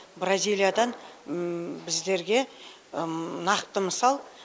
бразилиядан біздерге нақты мысал